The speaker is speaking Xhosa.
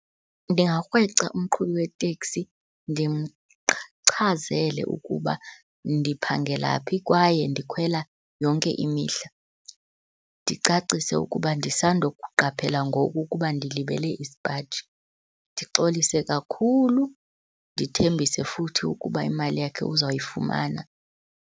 Ndingakrweca umqhubi weteksi ukuba ndiphangela phi kwaye ndikhwela yonke imihla. Ndicacise ukuba ndisandokuqaphela ngoku ukuba ndilibele isipaji, ndixolise kakhulu, ndithembise futhi ukuba imali yakhe uzawuyifumana.